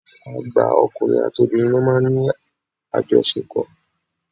Àgbà ọkùnrin àti obìnrin ló máa ń ní àjọṣepò.